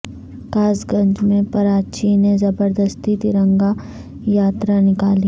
کاس گنج میں پراچی نے زبردستی ترنگا یاترا نکالی